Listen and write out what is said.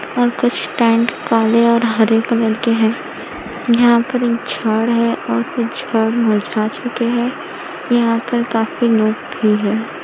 और कुछ टेंट काले और हरे कलर के हैं यहां पर एक झाड है और कुछ झाड़ मुरझा चुके हैं यहां पर काफी नोक भी है।